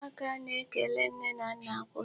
Ụmụaka na-ekele nne na nna kwa ụtụtụ.